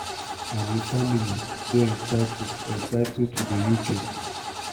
and im family dey entitled entitled to for di uk.